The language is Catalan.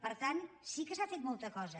per tant sí que s’ha fet molta cosa